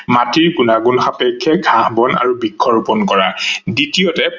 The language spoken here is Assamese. মাটিৰ গুনাগুন সাপেক্ষে ঘাহ, বন আৰু বৃক্ষ ৰুপন কৰা, দ্বিতীয়তে